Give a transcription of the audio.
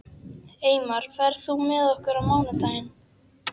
Eymar, ferð þú með okkur á mánudaginn?